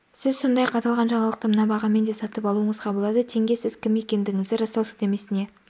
сіз сондай-ақ аталған жаңалықты мына бағамен де сатып алуыңызға болады тенге сіз кім екендігіңізді растау сілтемесіне